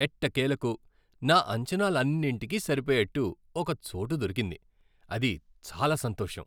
ఎట్టకేలకు, నా అంచనాలన్నింటికీ సరిపోయేట్టు ఒక చోటు దొరికింది, అది చాలా సంతోషం.